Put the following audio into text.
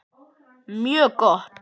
Mjög gott!